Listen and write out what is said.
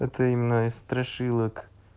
это имена из страшилок